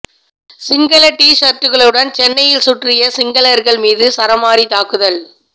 சிங்கள டீ சர்ட்களுடன் சென்னையில் சுற்றிய சிங்களர்கள் மீது சரமாரி தாக்குதல்